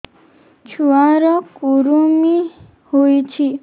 ଛୁଆ ର କୁରୁମି ହୋଇଛି